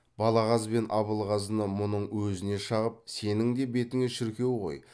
балағаз бен абылғазыны мұның өзіне шағып сенің де бетіңе шіркеу ғой